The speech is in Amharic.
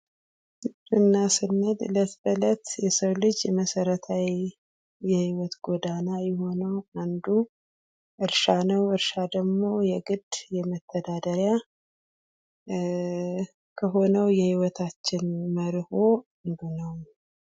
ግብርና ስንል ዕለት ከእለት የሰው ልጅ መሰረታዊ የህይወት ጎዳና የሆነው አንዱ እርሻ ነው። እርሻ ደግሞ የግድ የመተዳደሪያ ሆነው የህይወታችን መርሆ ገብርናው ነው።